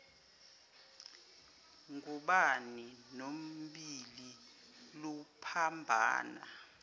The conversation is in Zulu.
ngubane nobhili luphambana